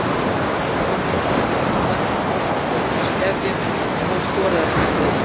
Fylkir náði að halda markadrottningunni Hörpu Þorsteinsdóttur í skefjum en hún skoraði ekki í kvöld.